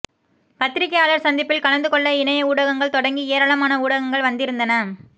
பத்திரிகையாளர் சந்திப்பில் கலந்து கொள்ள இணைய ஊடகங்கள் தொடங்கி ஏராளமான ஊடகங்கள் வந்திருந்தன